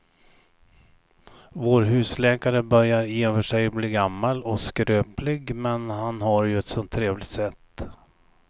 Vår husläkare börjar i och för sig bli gammal och skröplig, men han har ju ett sådant trevligt sätt!